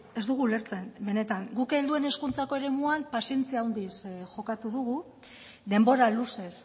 ez dugu ulertzen benetan guk helduen hezkuntzako eremuan pazientzia handiz jokatu dugu denbora luzez